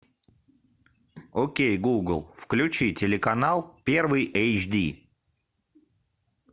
окей гугл включи телеканал первый эйчди